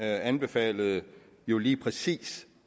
anbefalede jo lige præcis